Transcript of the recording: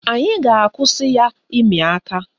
Anyị ga-akwụsị ya ịmị aka.